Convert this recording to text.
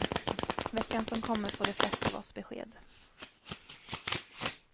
Veckan som kommer får de flesta av oss besked.